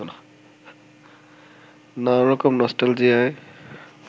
নানা রকম নস্টালজিয়ায়